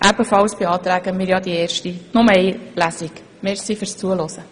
Zudem beantragen wir, dass nur eine Lesung durchgeführt wird.